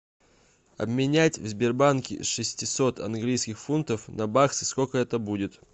обменять в сбербанке шестьсот английских фунтов на баксы сколько это будет